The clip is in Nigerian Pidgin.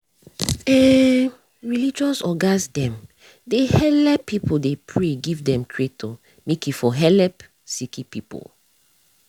eeh religious ogas dem dey helep pipu dey pray give dem creator make e for helep sicki pipu